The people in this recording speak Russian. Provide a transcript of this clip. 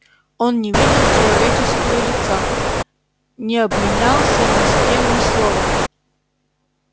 он не видел человеческою лица не обменялся ни с кем ни словом